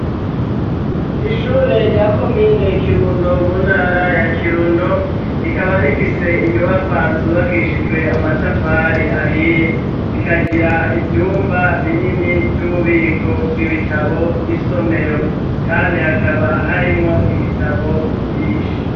Ishure rya komine kirundo mu ntara ya kirundo rikaba rifise inyubakwa zubakishijwe amatafari ahiye zikagira ivyumba binini vy'ububiko bw'ibitabo n'isomero kandi hakaba harimwo ibitabo vyinshi.